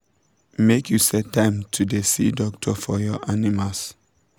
make you set time to da see doctor for your animals